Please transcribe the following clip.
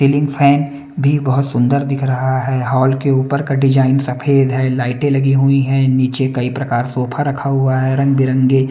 ceiling fan भी बहोत सुंदर दिख रहा है हॉल के ऊपर का डिजाईन सफेद है लाईटे लगी हुई हैं निचे कई प्रकार सोफा रखा हुआ है रंग बिरंगे--